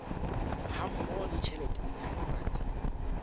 hammoho le tjhelete ya matsatsi